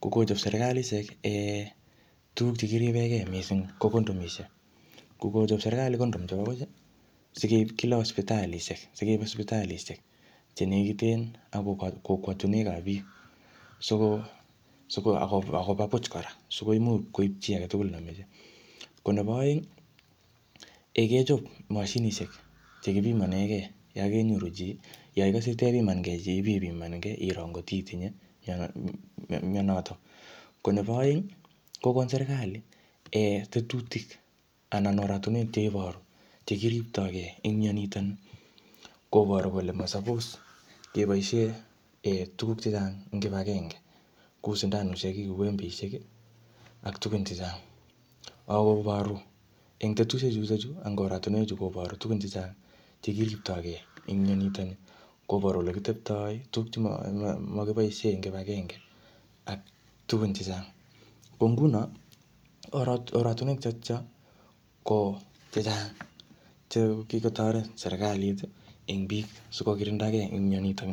ko Kochab sibitalishek oret nekiribenge missing ko condoms ko Kochab serkali condom chebabu ih sikeib Kila sipitalisiek chenekiten ak kokwotiniuek kab biksikoimuch koib chi agetugul neimache. Ko nebaaeng ih kechob mashinisiek chekibimanege Yoon kenyoru chi, Yoon ikase tebimange chi iro ngot itinye mianoton ko neba aeng ih kokon serkali tetutik cheiboru anan yekiriptoge en mianito. Kobaru kole maappse kebaisien tuguk che gaa kouu sindanosiek angot baru en tetutik chu tugun chechang chekiribtoge en mianitoni kobaru ole kitebtaa tuguk chemanyalu ak tugun chechang.ko ngunon oratuniek chechang chekikotaret serkalit ih en bik sikokirindage mianito.